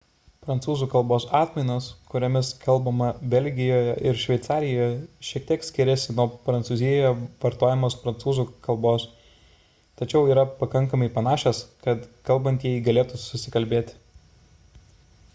prancūzų kalbos atmainos kuriomis kalbama belgijoje ir šveicarijoje šiek tiek skiriasi nuo prancūzijoje vartojamos prancūzų kalbos tačiau yra pakankamai panašios kad kalbantieji galėtų susikalbėti